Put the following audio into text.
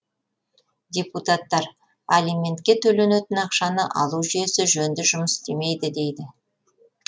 депутаттар алиментке төленетін ақшаны алу жүйесі жөнді жұмыс істемейді дейді